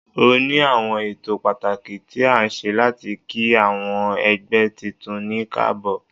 O ni awọn ẹtọ patakí tí a ṣe latí kí awọn ẹgbẹ titun ní kaabo.